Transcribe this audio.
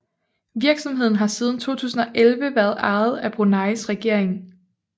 Virksomheden har siden 2011 været ejet af Bruneis regering